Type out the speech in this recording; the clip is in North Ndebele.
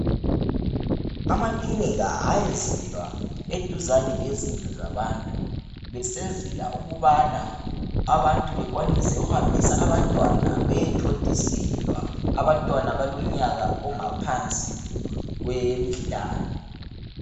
Amakilinika ayenzelwa eduzane lezindlu zabantu besenzela ukubana abantu bekwanise ukuhambisa abantwana beye thontiselwa, abantwana abalomnyaka ongaphansi kweminyaka emihlanu.